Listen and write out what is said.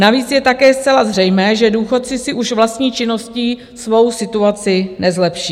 Navíc je také zcela zřejmé, že důchodci si už vlastní činností svou situací nezlepší.